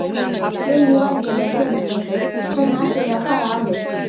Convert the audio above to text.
Lillý Valgerður Pétursdóttir: Hvernig ætlið þið að fara að því?